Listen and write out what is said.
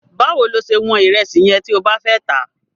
Báwo lo ṣe wọ́n ìrẹsì yẹn tí o bá fẹ́ tà á?